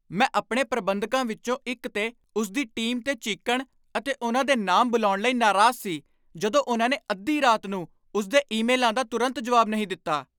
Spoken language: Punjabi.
ਮੈਂ ਆਪਣੇ ਪ੍ਰਬੰਧਕਾਂ ਵਿੱਚੋਂ ਇੱਕ 'ਤੇ ਉਸ ਦੀ ਟੀਮ 'ਤੇ ਚੀਕਣ ਅਤੇ ਉਨ੍ਹਾਂ ਦੇ ਨਾਮ ਬੁਲਾਉਣ ਲਈ ਨਾਰਾਜ਼ ਸੀ ਜਦੋਂ ਉਨ੍ਹਾਂ ਨੇ ਅੱਧੀ ਰਾਤ ਨੂੰ ਉਸਦੇ ਈਮੇਲਾਂ ਦਾ ਤੁਰੰਤ ਜਵਾਬ ਨਹੀਂ ਦਿੱਤਾ।